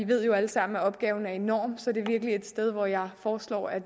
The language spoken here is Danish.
ved jo alle sammen at opgaven er enorm så det er virkelig et sted hvor jeg foreslår at